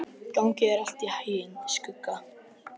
Gangi þér allt í haginn, Skugga.